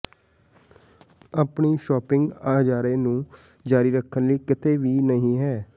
ਆਪਣੀ ਸ਼ੌਪਿੰਗ ਅਜ਼ਾਰੇ ਨੂੰ ਜਾਰੀ ਰੱਖਣ ਲਈ ਕਿਤੇ ਵੀ ਨਹੀਂ ਹੈ